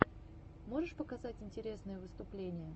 можешь показать интересные выступления